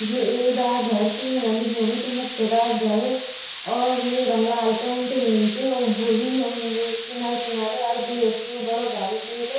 यु एक डाकघर च येमा लिख्यूं भी च मुख्य डाकघर और येमा लाल पेंट हुई च ऊब उंद किनर किनर अर गेट च उ बड़ु भारीक एक।